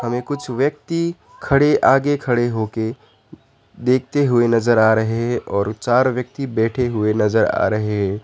में कुछ व्यक्ति खड़े आगे खड़े हो के देखते हुए नजर आ रहे हैं और चार व्यक्ति बैठे हुए नजर आ रहे हैं।